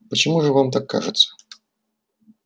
почему же вам так кажется